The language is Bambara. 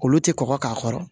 Olu tɛ kɔkɔ k'a kɔrɔ